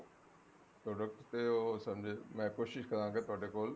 product ਤੇ ਉਹ ਮੈਂ ਕੋਸ਼ਿਸ਼ ਕਰਾਂਗਾ ਤੁਹਾਡੇ ਕੋਲ